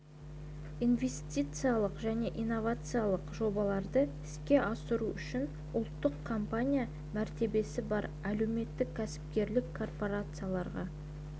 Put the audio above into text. инвестициялық және инновациялық жобаларды іске асыру үшін ұлттық компания мәртебесі бар әлеуметтік-кәсіпкерлік корпорацияларға